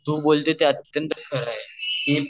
तू बोलते ते अत्यंत खर आहे